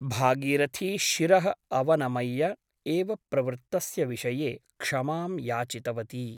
भागीरथी शिरः अवनमय्य एव प्रवृत्तस्य विषये क्षमां याचितवती ।